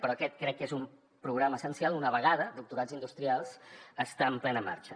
però aquest crec que és un programa essencial una vegada doctorats industrials està en plena marxa